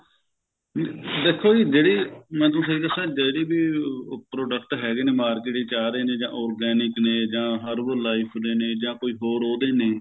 ਦੇਖੋ ਜੀ ਜਿਹੜੀ ਮੈਂ ਤੁਹਾਨੂੰ ਸਹੀ ਦੱਸਾ ਜਿਹੜੀ ਵੀ ਉਹ product ਹੈਗੇ ਨੇ ਉਹ market ਵਿੱਚ ਆ ਰਹੇ ਨੇ ਜਾ organic ਨੇ ਜਾ herbal life ਦੇ ਨੇ ਜਾ ਕੋਈ ਹੋਰ ਉਹਦੇ ਨੇ